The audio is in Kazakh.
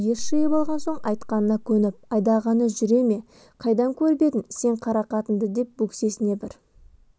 ес жиып алған соң айтқанына көніп айдағанына жүре ме қайдан көріп едім сен қара қатынды деп бөксесіне бір